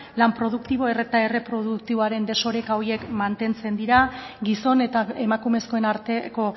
lan produktibo eta erreproduktiboaren desoreka horiek mantentzen dira gizon eta emakumezkoen arteko